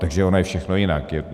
Takže ono je všechno jinak.